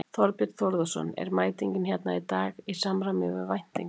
Þorbjörn Þórðarson: Er mætingin hérna í dag í samræmi við væntingar?